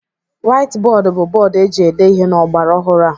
Waiti bọọdụ bụ bọọdụ eji ede ihe n'ọgbaraọhụrụ a.